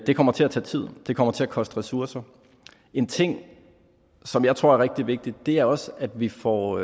det kommer til at tage tid det kommer til at koste ressourcer en ting som jeg tror er rigtig vigtig er også at vi får